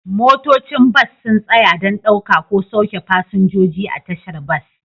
Motocin bas sun tsaya don ɗauka ko sauke fasinjoji a tashar bas